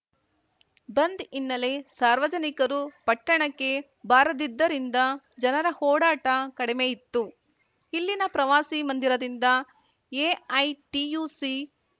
ಬಂದ್‌ ಹಿನ್ನಲೆ ಸಾರ್ವಜನಿಕರು ಪಟ್ಟಣಕ್ಕೆ ಬಾರದಿದ್ದರಿಂದ ಜನರ ಓಡಾಟ ಕಡಿಮೆ ಇತ್ತು ಇಲ್ಲಿನ ಪ್ರವಾಸಿ ಮಂದಿರದಿಂದ ಎಐಟಿಯುಸಿ